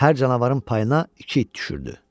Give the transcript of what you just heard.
Hər canavarın payına iki it düşürdü.